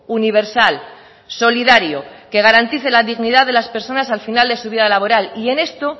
universal solidario que garantice la dignidad de las personas al final de su vida laboral y en esto